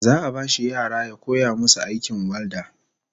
Za'a bashi yara ya koya musu aikin walda